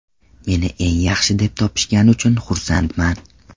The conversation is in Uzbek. Meni eng yaxshi deb topishgani uchun xursandman.